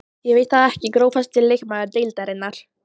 Ég veit það ekki Grófasti leikmaður deildarinnar?